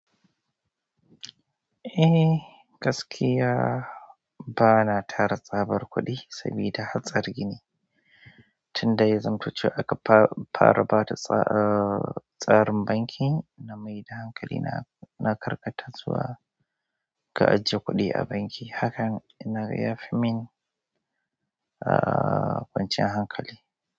Eh, gaskiya ba na tara tsabar kuɗi saboda hatsarin ne. Tunda ya zamto cewa aka fara bada tsarin banki na mai da hankali na karkata zuwa ka ajiye kuɗi a banki. Haka na ga ya fi min kwanciyar hankali.